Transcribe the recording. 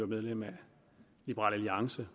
medlem af liberal alliance